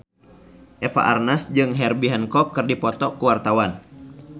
Eva Arnaz jeung Herbie Hancock keur dipoto ku wartawan